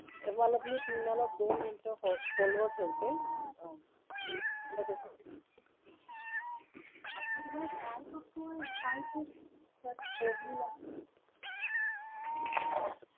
मला तुम्ही तुम्हाला फक्त दोन मिनिट hold वर ठेवते